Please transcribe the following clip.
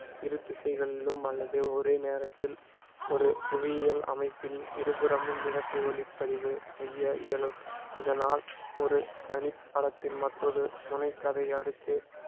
இரு திசைகளிலும் அல்லது ஒரே நேரத்தில் ஒரு புவியியல் அமைப்பில் இருபுறமும் இரட்டை ஒளிப்பதிவு செய்ய இயலும் இதனால் ஒரு தனி படத்தின் மற்றொரு துணைக் கதை அடுக்கு